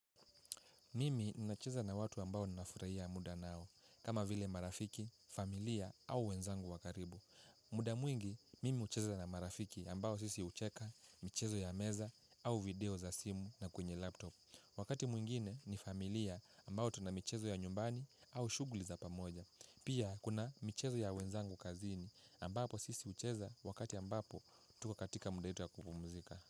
Mimi nacheza na watu ambao na nafurahia muda nao, kama vile marafiki, familia au wenzangu wa karibu. Muda mwingi, mimi hucheza na marafiki ambao sisi hucheka, michezo ya meza au video za simu na kwenye laptop. Wakati mwingine ni familia ambao tuna michezo ya nyumbani au shuguli za pamoja. Pia kuna michezo ya wenzangu kazini ambapo sisi hucheza wakati ambapo tuko katika muda wetu ya kupumzika.